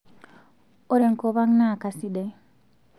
ore enkop ang naa kasidai